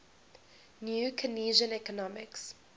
new keynesian economics